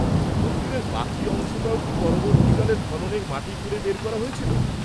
-মন্দিরের বাকি অংশটাও কি পরবর্তীকালের খননে মাটি খুঁড়ে বের করা হয়েছিল?